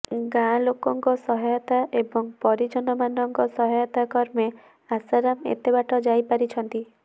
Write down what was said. ଗାଁ ଲୋକଙ୍କ ସହାୟତା ଏବଂ ପରିଜମମାନଙ୍କ ସହାୟତା କ୍ରମେ ଆଶାରାମ ଏତେ ବାଟ ଯାଇପାରିଛନ୍ତି